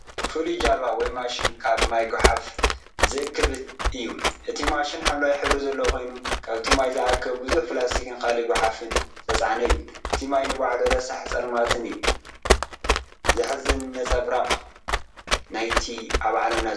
ፍሉይ ጃልባ ወይ ማሽን ካብ ማይ ጎሓፍ ዝእክብ እዩ እቲ ማሽን ሐምላይ ሕብሪ ዘለዎ ኮይኑ፡ካብቲ ማይ ዝኣከቦ ብዙሕ ፕላስቲክን ካልእ ጎሓፍን ዝተጻዕነ እዩ። እቲ ማይ ንባዕሉ ረሳሕን ጸልማትን እዩ። ዘሕዝን ነጸብራቕ ናይቲ ኣብ ዓለምና ዘሎ ጸገም እዩ።